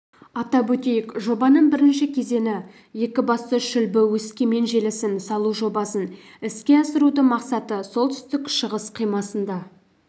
атап өтейік жобаның бірінші кезеңі кв екібастұз-шүлбі өскемен желісін салу жобасын іске асырудың мақсаты солтүстік-шығыс қимасында